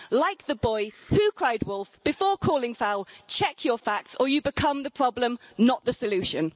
Like the boy who cried wolf before calling foul, check your facts or you become the problem, not the solution.